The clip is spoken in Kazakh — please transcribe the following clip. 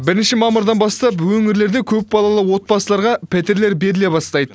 бірінші мамырдан бастап өңірлерде көпбалалы отбасыларға пәтерлер беріле бастайды